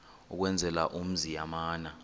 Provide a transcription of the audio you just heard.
ukwenzela umzi yamana